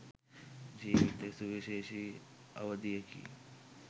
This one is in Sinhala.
ජීවිතයේ සුවිශේෂි අවධියකි.